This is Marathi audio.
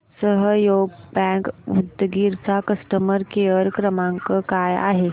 सहयोग बँक उदगीर चा कस्टमर केअर क्रमांक काय आहे